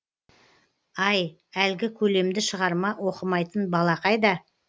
ай әлгі көлемді шығарма оқымайтын бала қайда